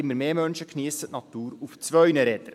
immer mehr Menschen geniessen die Natur auf zwei Rädern.